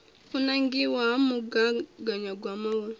u nangiwa ha mugaganyagwama wa